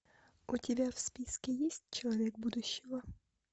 у тебя в списке есть человек будущего